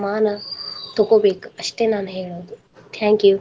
ತೊಗೋಬೇಕ ಅಷ್ಟೇ ನಾನ ಹೇಳುದು thank you.